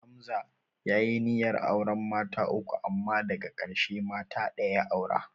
Hamza ya yi niyyar auren mata uku amma daka ƙarshe mata ɗaya ya aura